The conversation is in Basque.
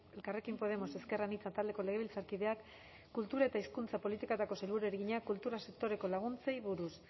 elkarrekin podemos ezker anitza taldeko legebiltzarkideak kultura eta hizkuntza politikako sailburuari egina kultur sektorerako laguntzei buruz